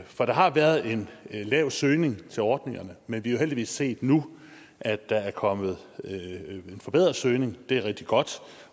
for der har været en lav søgning til ordningerne men vi har jo heldigvis set nu at der er kommet en forbedret søgning det er rigtig godt